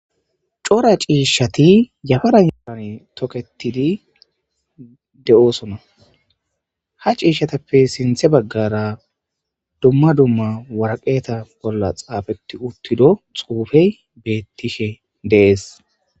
cora ciishshati yafaran yapan toketidi de7oosona ha ciishshatappe sinthe baggara dumma dumma waraqeeta bolla xaafetti uttido xuufey beettishe dees